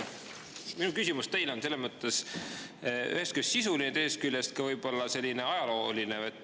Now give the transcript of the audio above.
Minu küsimus teile on ühest küljest sisuline, teisest küljest võib-olla selline ajalooline.